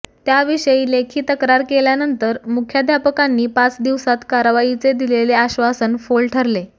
त्याविषयी लेखी तक्रार केल्यानंतर मुखाध्यापकांनी पाच दिवसात कारवाईचे दिलेले आश्वासन फोल ठरले